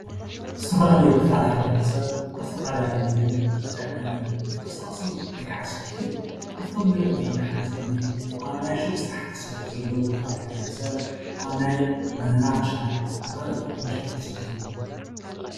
ዝተፈላለዩ ክፋለ ሕብረተስብ አብ ዝተፈላለዩ ንግድን ምትዕድዳግን ይቀሳቀሱ እዩም ወይ ከዓ ይሳተፉ እዩም። ካብቶም ንሪኦም ዘለና ሓደ ዝኮነ ኣብ ናይ ሹቅ ስራሕትን ዝሳተፉ ዘለው ክፋለ ሕብረተሰብ ኣብ ናይ በነና ምሻጥ ኣብ ካልኦት አቁሑ ምሻጥ ዝሳተፉ ዘለው፡፡